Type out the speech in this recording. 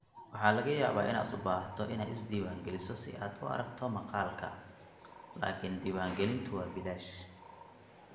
Waxaa laga yaabaa inaad u baahato inaad isdiiwaangeliso si aad u aragto maqaalka, laakiin diiwaangelintu waa bilaash.